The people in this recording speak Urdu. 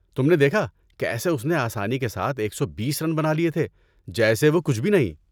تم نے دیکھا کیسے اس نے آسانی کے ساتھ ایک سو بیس رن بنا لیے تھے جیسے وہ کچھ بھی نہیں